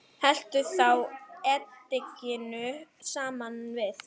Helltu þá edikinu saman við.